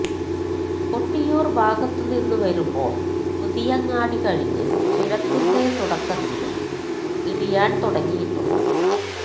കൊട്ടിയൂർഭാഗത്തുനിന്ന് വരുമ്പോൾ പുതിയങ്ങാടി കഴിഞ്ഞ് ചുരത്തിന്റെ തുടക്കത്തിലും ഇടിയാൻ തുടങ്ങിയിട്ടുണ്ട്